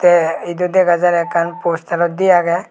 te edu degajar ekkan postarot diye agey.